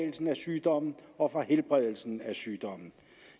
sygdommen og for helbredelsen af sygdommen